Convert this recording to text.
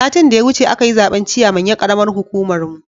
Satin da ya wuce akayi zaben ciyaman ya karamar hukumar mu